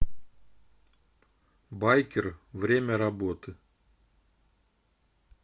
байкер время работы